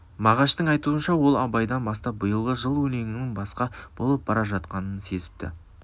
мағаштың айтуынша ол абайдан бастап биылғы жыл өлеңінің басқа болып бара жатқанын сезіпті